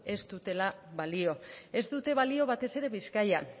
ez dutela balio ez dute balio batez ere bizkaian